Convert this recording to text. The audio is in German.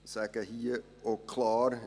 Ich sage hier auch klar: